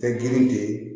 Fɛn girin de ye